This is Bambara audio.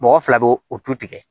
Mɔgɔ fila b'o o tu tigɛ